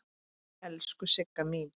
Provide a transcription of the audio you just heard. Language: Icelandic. Elsku Sigga mín.